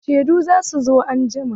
Shedun za su zo anjima.